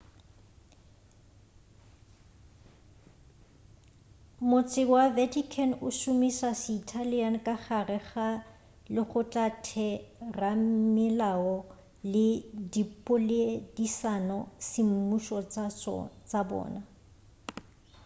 motse wa vatican o šomiša se-italian ka gare ga legotlatheramelao le dipoledišano semmušo tša bona